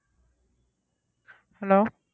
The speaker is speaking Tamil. hello